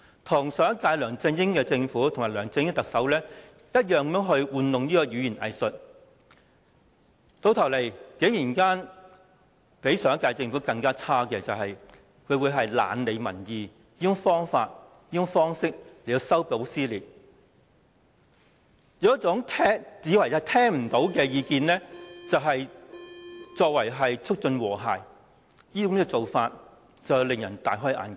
她與上屆梁振英特首及其政府同樣玩弄語言"偽術"，結果較上屆政府更差的是，她以"懶理民意"的方式修補撕裂，以"聽不見為淨"的方式促進和諧，做法確實使人大開眼界。